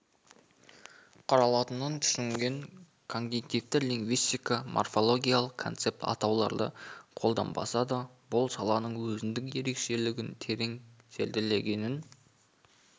құралатынын түсінгенін когнитивті лингвистика морфологиялық концепт атауларды қолданбаса да бұл саланың өзіндік ерекшелігін терең зерделегенін